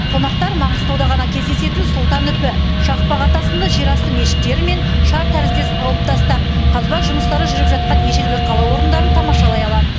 қонақтар маңғыстауда ғана кездесетін сұлтан үпі шақпақ ата сынды жерасты мешіттері мен шар тәріздес алып тастар қазба жұмыстары жүріп жатқан ежелгі қала орындарын тамашалай алады